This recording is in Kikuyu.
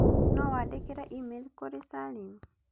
no wandĩkĩre e-mail kũrĩ salim